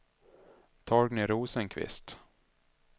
Torgny Rosenqvist